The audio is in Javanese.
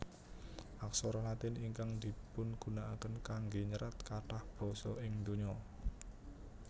Aksara Latin ingkang dipungunakaken kanggé nyerat kathah basa ing donya